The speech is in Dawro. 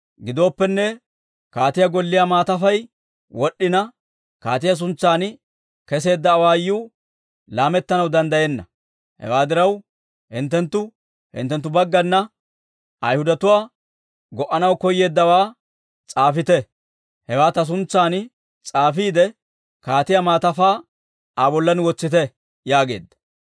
Gidooppenne, kaatiyaa golliyaa maatafay wod'd'ina, kaatiyaa suntsan keseedda awaayuu laamettanaw danddayenna. Hewaa diraw, hinttenttu hinttenttu baggana Ayhudatuwaa go'anaw koyeeddawaa s'aafite. Hewaa ta suntsan s'aafiide, kaatiyaa maatafaa Aa bollan wotsite» yaageedda.